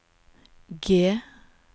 G